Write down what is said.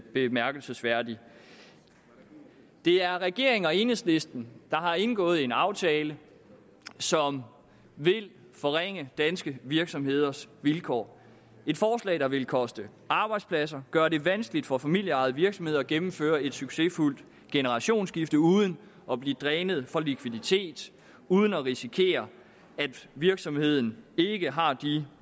bemærkelsesværdigt det er regeringen og enhedslisten der har indgået en aftale som vil forringe danske virksomheders vilkår et forslag der vil koste arbejdspladser gøre det vanskeligt for familieejede virksomheder at gennemføre et succesfuldt generationsskifte uden at blive drænet for likviditet uden at risikere at virksomheden ikke har de